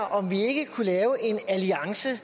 om vi ikke kunne lave en alliance